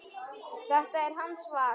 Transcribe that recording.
Þetta er hans val.